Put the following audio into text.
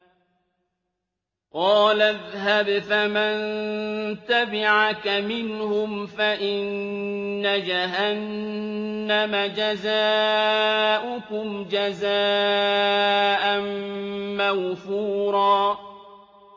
قَالَ اذْهَبْ فَمَن تَبِعَكَ مِنْهُمْ فَإِنَّ جَهَنَّمَ جَزَاؤُكُمْ جَزَاءً مَّوْفُورًا